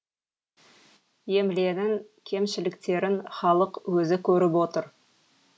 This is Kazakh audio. емленің кемшіліктерін халық өзі көріп отыр